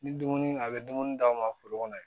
Ni dumuni a bɛ dumuni d'aw ma foro kɔnɔ